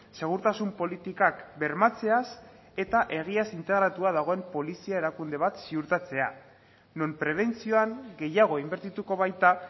segurtasun politikak bermatzeaz eta egiaz integratua dagoen polizia erakunde bat ziurtatzea non prebentzioan gehiago inbertituko baita